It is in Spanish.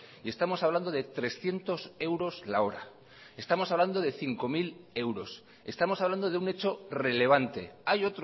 estamos hablando de trescientos euros la hora estamos hablando de cinco mil euros estamos hablando de un hecho relevante hay